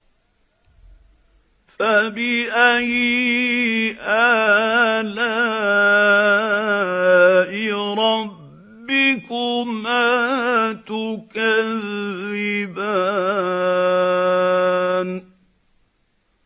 فَبِأَيِّ آلَاءِ رَبِّكُمَا تُكَذِّبَانِ